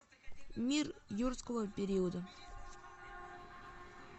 мир юрского периода